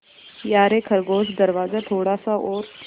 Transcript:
यारे खरगोश दरवाज़ा थोड़ा सा और